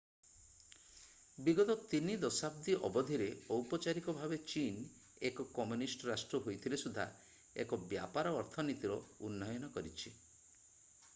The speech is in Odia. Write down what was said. ବିଗତ ତିନି ଦଶାବ୍ଦୀ ଅବଧିରେ ଔପଚାରିକ ଭାବେ ଚୀନ ଏକ କମ୍ୟୁନିଷ୍ଟ ରାଷ୍ଟ୍ର ହୋଇଥିଲେ ସୁଦ୍ଧା ଏକ ବ୍ୟାପାର ଅର୍ଥନୀତିର ଉନ୍ନୟନ କରିଛି